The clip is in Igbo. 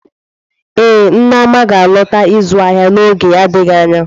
Ee, Neoma ga-alọta ịzụ ahịa n'oge adịghị anya.